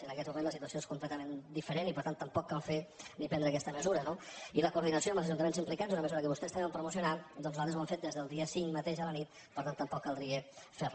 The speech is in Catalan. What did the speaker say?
en aquests moments la situació és completament diferent i per tant tampoc cal fer ni prendre aquesta mesura no i la coordinació amb els ajuntaments implicats una mesura que vostès també van promocionar doncs nosaltres ho hem fet des del dia cinc mateix a la nit per tant tampoc caldria fer la